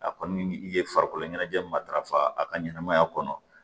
A kɔni i ye farikolo ɲɛnajɛ matarafa a ka ɲɛnɛmaya kɔnɔ